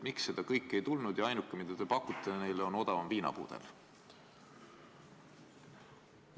Miks seda kõike ei tulnud ja ainuke, mida te neile pakute, on odavam viinapudel?